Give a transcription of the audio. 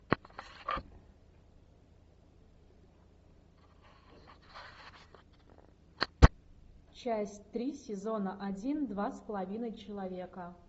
часть три сезона один два с половиной человека